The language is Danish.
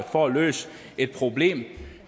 for at løse et problem